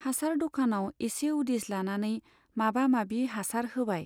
हासार द'कानाव एसे उदिस लानानै माबा माबि हासार होबाय।